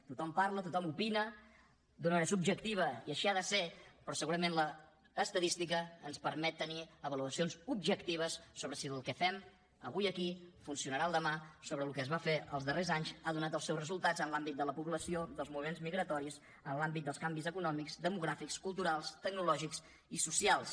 tothom parla tothom opina d’una manera subjectiva i així ha de ser però segurament l’estadística ens permet tenir avaluacions objectives sobre si el que fem avui aquí funcionarà demà sobre si el que es va fer els darrers anys ha donat els seus resultats en l’àmbit de la població dels moviments migratoris en l’àmbit dels canvis econòmics demogràfics culturals tecnològics i socials